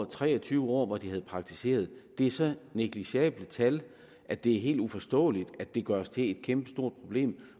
tre og tyve år hvor de havde praktiseret det er så negligerbare tal at det er helt uforståeligt at det gøres til et kæmpestort problem